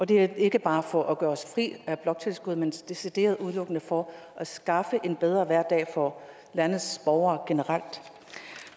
det er ikke bare for at gøre os fri af bloktilskuddet men decideret udelukkende for at skaffe en bedre hverdag for landets borgere generelt